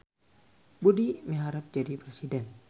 Budi miharep jadi presiden